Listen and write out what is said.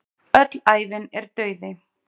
Öll ævin er dauði.